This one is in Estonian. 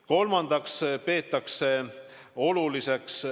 Kolmandaks peetakse oluliseks ...